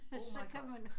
Oh my god